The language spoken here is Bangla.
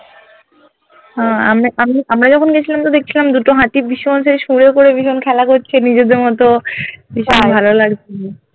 হ্যা আমি আমি আমরা যখন গেছিলাম তো দেখছিলাম দুটো হাতি ভীষণ খেলা করছে নিজেদের মতো ভীষণ ভালো লাগছিলো